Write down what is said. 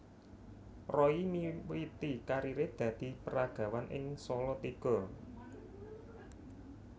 Roy miwiti kariré dadi peragawan ing Salatiga